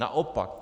Naopak.